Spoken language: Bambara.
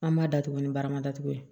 An b'a datugu ni barama datugu ye